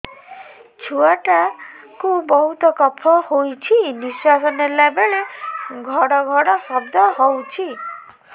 ଛୁଆ ଟା କୁ ବହୁତ କଫ ହୋଇଛି ନିଶ୍ୱାସ ନେଲା ବେଳେ ଘଡ ଘଡ ଶବ୍ଦ ହଉଛି